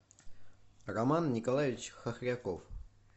роман николаевич хохряков